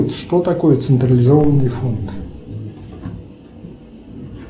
что такое централизованный фонд